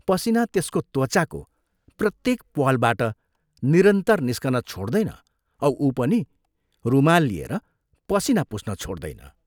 पसीना त्यसको त्वचाको प्रत्येक प्वालबाट निरन्तर निस्कन छोड्दैन औ उ पनि रुमाल लिएर पसीना पुछ्न छोड्दैन।